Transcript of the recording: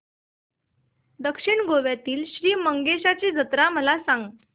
दक्षिण गोव्यातील श्री मंगेशाची जत्रा मला सांग